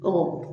Ɔ